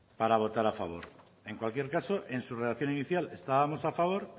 para votar a favor en cualquier caso en su redacción inicial estábamos a favor